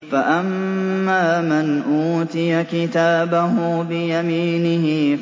فَأَمَّا مَنْ أُوتِيَ كِتَابَهُ بِيَمِينِهِ